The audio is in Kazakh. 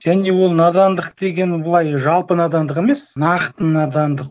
және ол надандық деген былай жалпы надандық емес нақты надандық